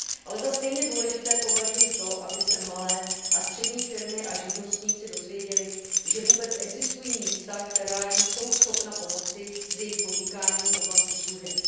Ale za stejně důležité považuji to, aby se malé a střední firmy a živnostníci dozvěděli, že vůbec existují místa, která jim jsou schopna pomoci s jejich podnikáním v oblasti služeb.